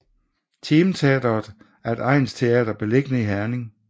Team Teatret er et egnsteater beliggende i Herning